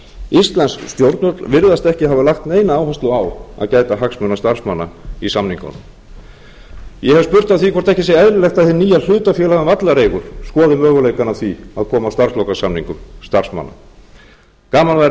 íslensk stjórnvöld virðast ekki hafa lagt neina áherslu á að gæta hagsmuna starfsmanna í samningunum ég hef spurt að því hvort ekki sé eðlilegt að hið